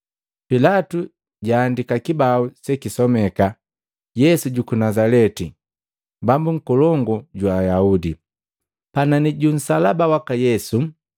Pilatu jaaandika kibau sekisomeka, “Yesu juku Nazaleti Bambu Nkolongu jwa Ayahude.” Panani ju nsalaba waka Yesu.